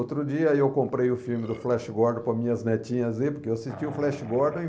Outro dia eu comprei o filme do Flash Gordon para minhas netinhas rir, porque eu assisti o Flash Gordon